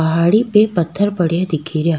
पहाड़ी पे पत्थर पड़ेया दिखे रा।